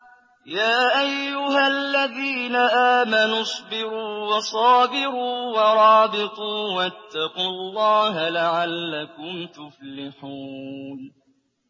يَا أَيُّهَا الَّذِينَ آمَنُوا اصْبِرُوا وَصَابِرُوا وَرَابِطُوا وَاتَّقُوا اللَّهَ لَعَلَّكُمْ تُفْلِحُونَ